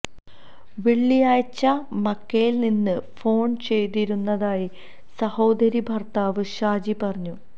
വെള്ളിയാഴ്ച മക്കയില് നിന്ന് ഫോണ് ചെയ്തിരുന്നതായി സഹോദരി ഭര്ത്താവ് ഷാജി പറഞ്ഞു